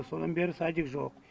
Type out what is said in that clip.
содан бері садик жоқ